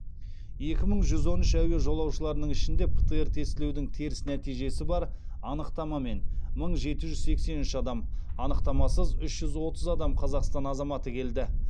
екі мың жүз он үш әуе жолаушыларының ішінде птр тестілеудің теріс нәтижесі бар анықтамамен мың жеті жүз сексен үш адам анықтамасыз үш жүз отыз адам қазақстан азаматы келді